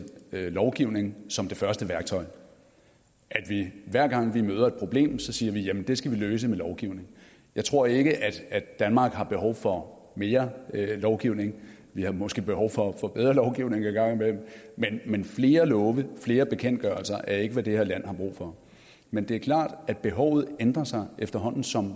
lovgivning som det første værktøj at vi hver gang vi møder et problem siger det skal vi løse med lovgivning jeg tror ikke danmark har behov for mere lovgivning vi har måske behov for bedre lovgivning en gang imellem men flere love flere bekendtgørelser er ikke hvad det her land har brug for men det er klart at behovet ændrer sig efterhånden som